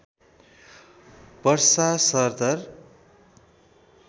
वर्षा सरदर